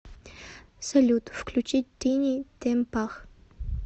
салют включить тини темпах